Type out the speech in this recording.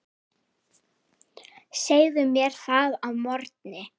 Segðu mér það að morgni.